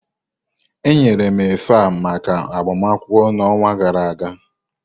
eyiri m efe a maka agbamakwụkwọ na onwa gara aga.